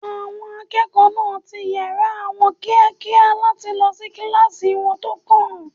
Àwọn akẹ́kọ̀ọ́ náà ti yàrá wọn kíákíá láti lọ sí kíláàsì wọn tó kàn